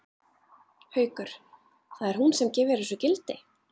Haukur: Það er hún sem gefur þessu gildi?